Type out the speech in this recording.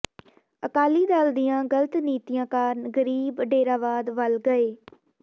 ਅਕਾਲੀ ਦਲ ਦੀਆਂ ਗਲਤ ਨੀਤੀਆਂ ਕਾਰਨ ਗਰੀਬ ਡੇਰਾਵਾਦ ਵੱਲ ਗਏ